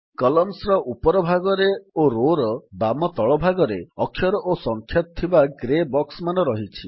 Columnsର ଉପର ଭାଗରେ ଓ Rowsର ବାମ ତଳ ଭାଗରେ ଅକ୍ଷର ଓ ସଂଖ୍ୟା ଥିବା ଗ୍ରେ ବକ୍ସମାନ ରହିଛି